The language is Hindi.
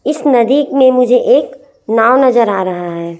इस नदी में मुझे एक नाव नजर आ रहा हैं।